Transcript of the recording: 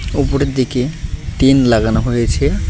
উপরের দিকে টিন লাগানো হয়েছে।